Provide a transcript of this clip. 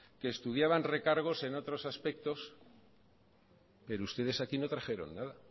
que estudiaban recargos en otros aspectos pero ustedes aquí no trajeron nada